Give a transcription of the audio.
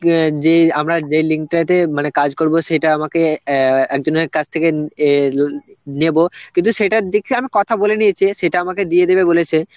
অ্যাঁ যে আমরা যে link টাতে মানে কাজ করব সেটা আমাকে অ্যাঁ একজনের কাছ থেকে এল~ নেব কিন্তু সেটা দেখি আমি কথা বলে নিয়েছে, সেটা আমাকে দিয়ে দেবে বলেছে